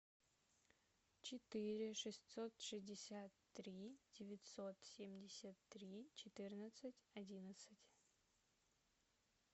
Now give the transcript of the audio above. четыре шестьсот шестьдесят три девятьсот семьдесят три четырнадцать одиннадцать